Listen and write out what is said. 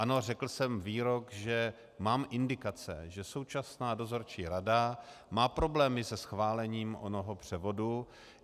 Ano, řekl jsem výrok, že mám indikace, že současná dozorčí rada má problémy se schválením onoho převodu.